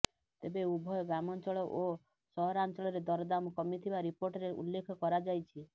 ତେବେ ଉଭୟ ଗ୍ରାମାଞ୍ଚଳ ଓ ସହରାଞ୍ଚଳରେ ଦରଦାମ୍ କମିଥିବା ରିପୋର୍ଟରେ ଉଲ୍ଲେଖ କରାଯାଇଛି